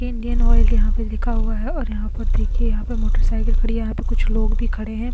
Indian oil यहां पर लिखा हुआ है और यहां पर देखिए यहां पर मोटरसाइकल खड़ी है यहां पर कुछ लोग भी खड़े हैं।